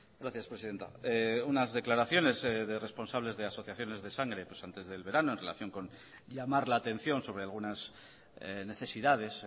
gracias presidenta unas declaraciones de responsables de asociaciones de sangre pues antes del verano en relación con llamar la atención sobre algunas necesidades